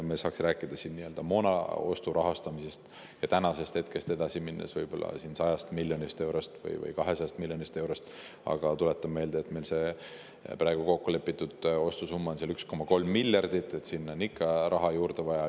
Me saaksime rääkida moonaostu rahastamisest ja tänasest edasi minnes 100 miljonist või 200 miljonist eurost, aga tuletan meelde, et kokkulepitud ostusumma on 1,3 miljardit, nii et sinna on ikka raha juurde vaja.